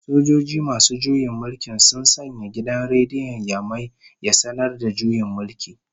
Sojoji masu juyin mulki sun sanya gidan rediyon Yamai ya sanar da juyin mulki